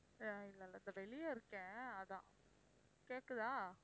ஆஹ் இல்ல இல்ல இப்ப வெளியே இருக்கேன் அதான் கேட்குதா?